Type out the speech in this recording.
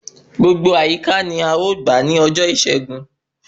Gbogbo àyíká ní a ọ gbà ni ọjọ ìṣẹ́gun